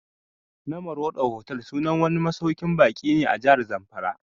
Namorado Hotel sunan wani masauƙin baƙin ne a Jahar Zamfara